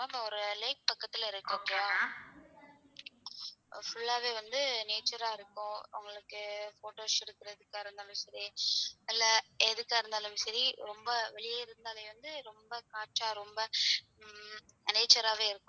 Full ஆவே வந்து nature ஆ இருக்கும். உங்களுக்கு photos எடுத்துகிறதுக்கா இருந்தாலும் சரி அல்ல எதுக்கா இருந்தாலும் சரி ரொம்ப வெளிய இருந்தாலே ரொம்ப காற்றா ரொம்ப ம் nature ஆவே இருக்கும்.